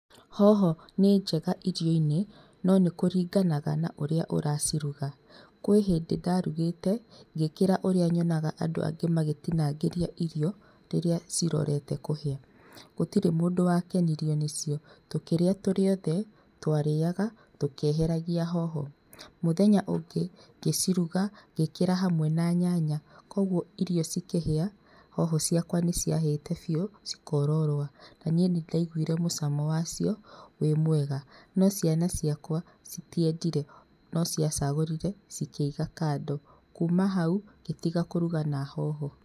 Hoho nĩ njega irio-inĩ no nĩkuringanaga na ũrĩa ũraciruga. Kwĩ hĩndĩ ndarugĩte ngĩkĩra ũria nyonaga andũ angĩ magĩtinangĩria irio rĩrĩa cirorete kũhĩa. Gũtirĩ mũndũ wakenirio nĩ cio. Tũkĩrĩa tũrĩ othe, twarĩaga tũkĩeheragia hoho. Mũthenya ũngĩ gĩciruga ngĩkĩra hamwe na nyanya koguo irio cikihia hoho ciakwa nĩciahite biu cikororoa. Na nĩ nindaiguire mũcamo wacio wĩmwega no ciana ciakwa citiendire, no ciacagũrire cikĩiga kando. Kuma hau ngĩtiga kũruga na hoho.